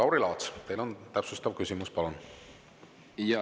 Lauri Laats, teil on täpsustav küsimus, palun!